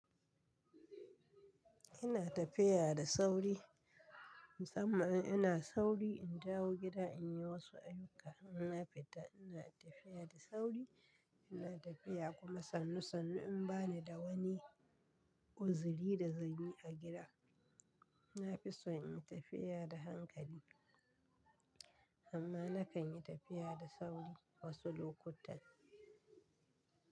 Ina tafiya da sauri, musamman in ina sauri in dawo gida in yi wasu ayyuka. Ina fita ina tafiya da sauri, ina tafiya kuma sannu sannu in ba ni da wani uziri da zanyi a gida. Na fi so in yi tafiya da hankali, amma na kan yi tafiya da sauri wasu lokutan.